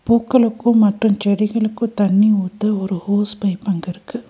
பூக்களுக்கும் மற்றும் செடிகளுக்கு தண்ணீ ஊத்த ஒரு ஹோஸ் பைப் அங்க இருக்கு.